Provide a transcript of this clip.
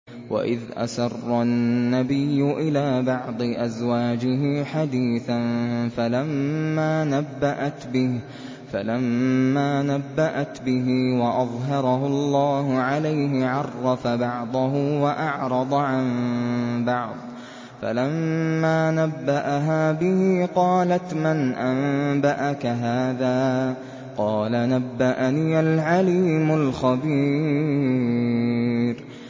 وَإِذْ أَسَرَّ النَّبِيُّ إِلَىٰ بَعْضِ أَزْوَاجِهِ حَدِيثًا فَلَمَّا نَبَّأَتْ بِهِ وَأَظْهَرَهُ اللَّهُ عَلَيْهِ عَرَّفَ بَعْضَهُ وَأَعْرَضَ عَن بَعْضٍ ۖ فَلَمَّا نَبَّأَهَا بِهِ قَالَتْ مَنْ أَنبَأَكَ هَٰذَا ۖ قَالَ نَبَّأَنِيَ الْعَلِيمُ الْخَبِيرُ